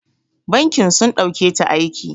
Bankin sun ɗauketa aiki.